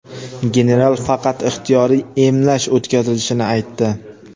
General faqat ixtiyoriy emlash o‘tkazilishini aytdi.